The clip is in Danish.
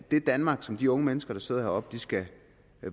det danmark som de unge mennesker der sidder heroppe skal